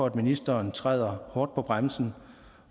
at ministeren træder hårdt på bremsen